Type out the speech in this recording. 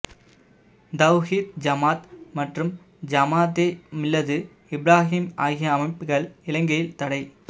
தௌஹீத் ஜமாத் மற்றும் ஜமாத்தே மில்லது இப்றாஹீம் ஆகிய அமைப்புக்கள் இலங்கையில் தடை